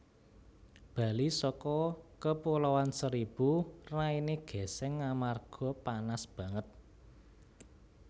Bali soko Kepulauan Seribu raine geseng amarga panas banget